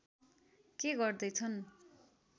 के गर्दै छन्